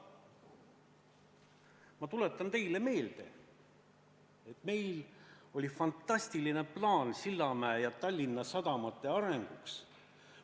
Ma tuletan teile meelde, et meil oli fantastiline plaan Sillamäe ja Tallinna sadama arendamiseks.